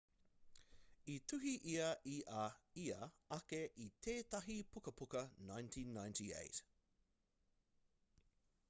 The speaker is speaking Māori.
i tuhi ia i a ia ake i tētahi pukapuka 1998